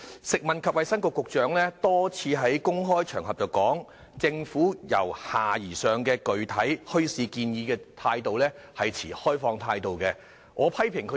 食物及衞生局局長曾多次在公開場合表示，政府對由下而上的具體墟市建議持開放態度。